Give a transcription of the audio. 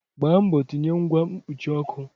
Gbaa mbọ tinye ngwa mkpuchi ọkụ!